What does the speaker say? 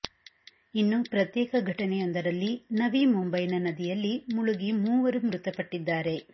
ಇನ್ನು ಪ್ರತ್ಯೇಕ ಘಟನೆಯೊಂದರಲ್ಲಿ ನವಿ ಮುಂಬೈನ ನದಿಯಲ್ಲಿ ಮುಳುಗಿ ಮೂವರು ಮೃತಪಟ್ಟಿದ್ದಾರೆ